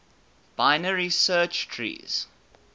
binary search trees